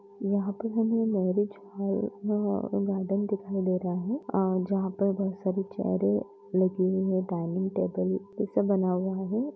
यहाँ पर हमें मैरिज हॉल व गार्डन दिखाई दे रहा है और जहां पे बहुत सारे चेयरे लगी हुई है डाइनिंग टेबल जैसा बना हुआ है।